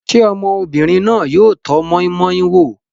Ṣé ọmọbìnrin náà yóò tọ́ moi-moi wò?